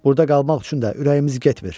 Burda qalmaq üçün də ürəyimiz getmir.